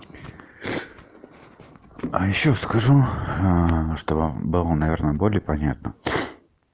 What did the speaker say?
а ещё скажу что бы было наверное более понятно